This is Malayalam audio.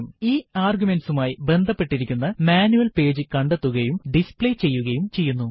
ഈ ആർഗ്യുമെന്റ്സുമായി ബന്ധപ്പെട്ടിരിക്കുന്ന മാനുവൽ പേജു കണ്ടെത്തുകയും ഡിസ്പ്ലേ ചെയ്യുകയും ചെയ്യുന്നു